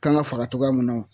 Kan ga fara togoya min na wo